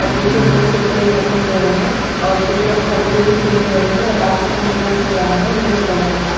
और पीछे बहुत से पेड़ रखे गए हैं और कुछ लोग खड़के भी सुन रहे हैं और आसमान दिखाई दे रहा है नीले कलर का--